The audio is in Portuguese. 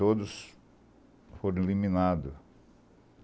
Todos foram eliminados.